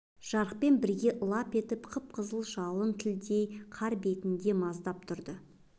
жарықпен бірге лап етіп қып-қызыл жалын тіліндей қар бетінде маздап тұрды